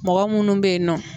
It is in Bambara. Mɔgɔ munnu bɛ ye nɔ